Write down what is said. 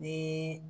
Ni